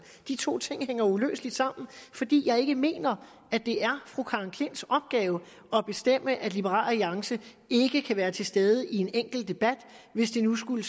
de to ting hænger uløseligt sammen fordi jeg ikke mener at det er fru karen j klints opgave at bestemme at liberal alliance ikke kan være til stede i en enkelt debat hvis det nu skulle